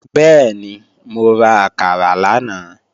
Bẹ́ẹ̀ni, mo ra àkàrà lánàá